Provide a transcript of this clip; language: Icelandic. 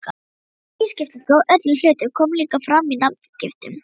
Þessi tvískipting á öllum hlutum kom líka fram í nafngiftum.